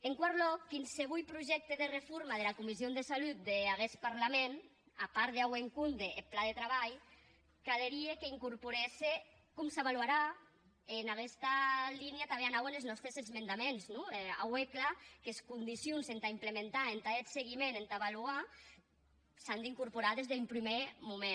en quatau lòc quinsevolh projècte de reforma dera comission de salut d’aguest parlament a part d’auer en compde eth plan de trabalh calerie qu’incorporèsse com s’avalorarà e en aguesta linha tanben anauen es nòstes esmendaments non auer clar qu’es condicions entà implementar entà hèr eth seguiment entà avalorar s’an d’incorporar des d’un prumèr moment